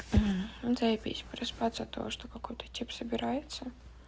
заебись проспаться от того что какой-то тип собирается